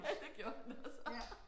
Ja det gjorde han også